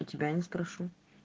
у я тебя не спрошу